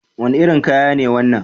Wani irin kaya ne wannan?